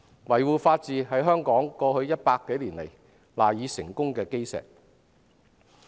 維護法治實在是香港過去100多年來賴以成功的基石。